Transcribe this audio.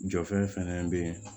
Jɔfɛn bɛ yen